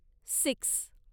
six